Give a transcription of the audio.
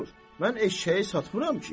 Mən eşşəyi satmıram ki.